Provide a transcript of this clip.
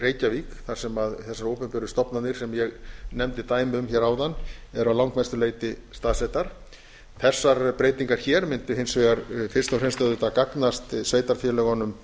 reykjavík þar sem þessar opinberu stofnanir sem ég nefndi dæmi um áðan eru að langmestu leyti staðsettar þessar breytingar hér mundu hins vegar fyrst og fremst auðvitað gagnast sveitarfélögunum